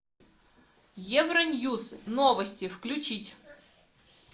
евроньюс новости включить